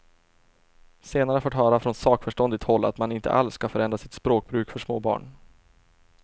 Senare har jag fått höra från sakförståndigt håll att man inte alls skall förändra sitt språkbruk för småbarn.